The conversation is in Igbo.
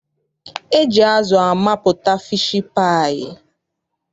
E ji azụ amapụta fiishi paayị.